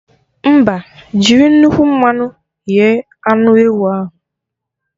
Mba, jiri nnukwu mmanụ ghe anụ ewu ahụ